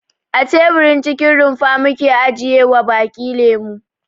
A teburin cikin rumfa muke ajiyewa baki lemo.